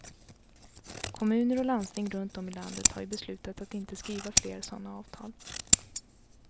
Kommuner och landsting runt om i landet har ju beslutat att inte skriva fler sådana avtal.